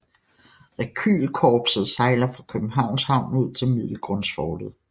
Rekylkorpset sejler fra Københavns Havn ud til Middelgrundsfortet